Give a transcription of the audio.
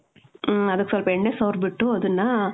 ಮ್ಮ್. ಅದಕ್ ಸ್ವಲ್ಪ್ ಎಣ್ಣೆ ಸವರ್ಬಿಟ್ಟು, ಅದನ್ನಾ,